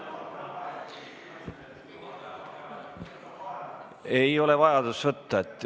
Ei ole vajadust võtta.